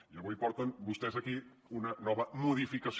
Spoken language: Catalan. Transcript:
i avui porten vostès aquí una nova modificació